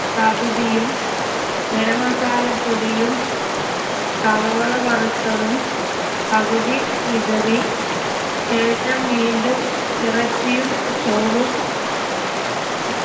പകുതിയും ഗരം masala പൊടിയും സവോള വറുത്തതും പകുതി വിതറി ശേഷം വീണ്ടും ഇറച്ചിയും ചോറും